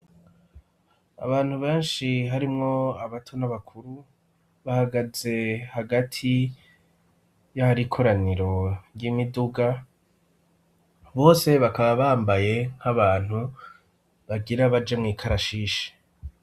Abantu benshi harimwo abato n'abakuru bahagaze hagati y'ahari ikoraniro ry'imiduga, bose bakaba bambaye nk'abantu bagira baje mw'ikarashishi.